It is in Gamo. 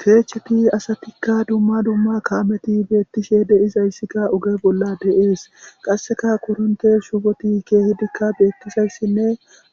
Keechcheti asatikka dumma dumma kaameti beettishe deizayssikka uge bolla de7ees qasseka koronte shufoti keehidikka beettizayssinne